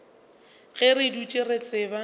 ge re dutše re tseba